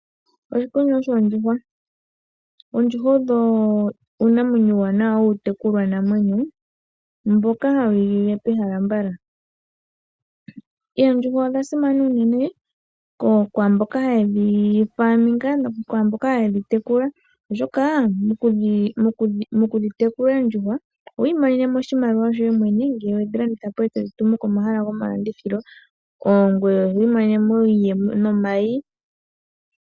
Oshikunino shoondjuhwa, oondjuhwa odho uunamwenyo uuwanawa wuutekulwa namwenyo mboka hawu igilile pehala mbala. Oondjuhwa odhasimana unene kwaamboka haye dhitekula, oshoka mokudhitekula oondjuhwa oho imonene oshimaliwa shoye mwene ngele wedhilanditha po etodhi tumu komahala gomalandithilo. Ngoye oho imonene mo iiyemo nomayi.